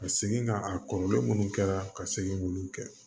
Ka segin ka a kɔrɔlen munnu kɛra ka segin k'olu kɛ